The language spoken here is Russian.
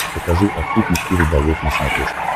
покажи охотник и рыболов на смотрешке